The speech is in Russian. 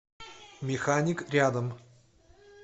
механик рядом